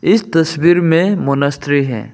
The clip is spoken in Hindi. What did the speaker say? इस तस्वीर में मॉनेस्ट्री है।